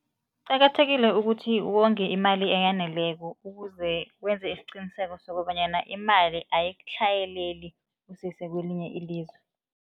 Kuqakathekile ukuthi uwonge imali eyaneleko ukuze wenze isiqiniseko sokobanyana imali ayikutlhayeleli usese kwelinye ilizwe.